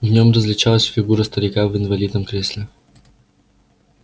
в нём различалась фигура старика в инвалидном кресле